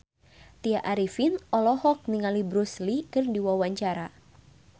Tya Arifin olohok ningali Bruce Lee keur diwawancara